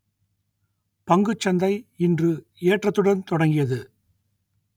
பங்குச்சந்தை இன்று ஏற்றத்துடன் தொடங்கியது